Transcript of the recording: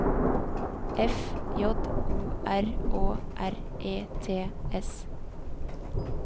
F J O R Å R E T S